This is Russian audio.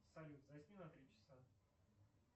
салют засни на три часа